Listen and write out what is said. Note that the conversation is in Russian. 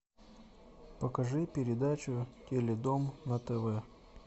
покажи передачу теледом на тв